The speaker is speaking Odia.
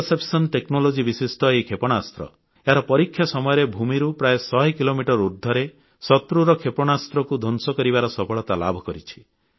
ଇଣ୍ଟରସେପ୍ଟର ଟେକ୍ନୋଲୋଜି ବିଶିଷ୍ଟ ଏହି କ୍ଷେପଣାସ୍ତ୍ର ଏହାର ପରୀକ୍ଷା ସମୟରେ ଭୂମିରୁ ପ୍ରାୟ 100 କିଲୋମିଟର ଉର୍ଦ୍ଧ୍ବରେ ଶତ୍ରୁର କ୍ଷେପଣାସ୍ତ୍ରକୁ ଧ୍ୱଂସ କରିବାର ସଫଳତା ଲାଭ କରିଛି